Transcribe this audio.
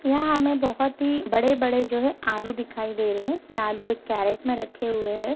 यहाँ हमें बहुत ही बड़े-बड़े जो है आलू दिखाई दे रहे हैं। यह आलू एक कैरेट में रखे हुए हैं।